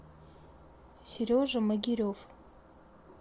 сережа могирев